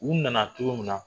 U nana togo min na